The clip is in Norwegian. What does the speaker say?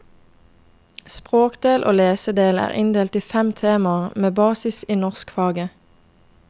Språkdel og lesedel er inndelt i fem temaer, med basis i norskfaget.